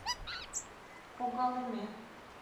когалыме